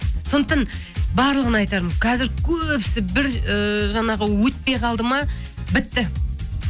сондықтан барлығына айтарым қазір көбісі бір ііі жаңағы өтпей қалды ма бітті